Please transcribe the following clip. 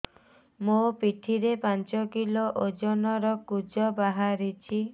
ମୋ ପିଠି ରେ ପାଞ୍ଚ କିଲୋ ଓଜନ ର କୁଜ ବାହାରିଛି